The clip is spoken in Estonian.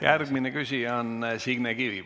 Järgmine küsija on Signe Kivi.